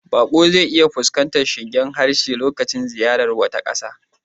Baƙo zai iya fuskantar shingen harshe lokacin ziyartar wata ƙasa.